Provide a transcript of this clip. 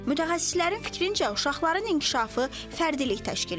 Mütəxəssislərin fikrincə, uşaqların inkişafı fərdilik təşkil edir.